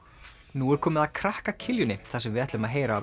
nú er komið að krakka þar sem við ætlum að heyra